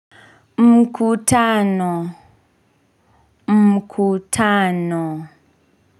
Mkutano mkutano.